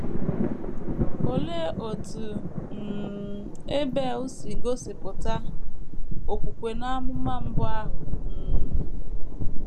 Olee otú um Ebel si gosipụta okwukwe n’amụma mbụ ahụ um?